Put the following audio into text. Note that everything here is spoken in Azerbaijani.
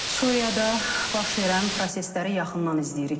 Suriyada baş verən prosesləri yaxından izləyirik.